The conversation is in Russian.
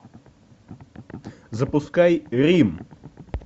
запускай рим